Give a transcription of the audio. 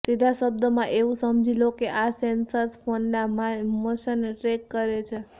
સીધા શબ્દોમાં એવું સમજી લો કે આ સેન્સર્સ ફોનના મોશનને ટ્રેક કરે છે